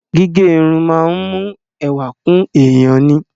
Gígẹ irun máa ń mú ẹwà kún èèyàn ni.